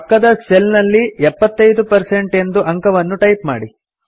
ಪಕ್ಕದ ಸೆಲ್ ನಲ್ಲಿ 75 ಎಂದು ಅಂಕವನ್ನು ಟೈಪ್ ಮಾಡಿ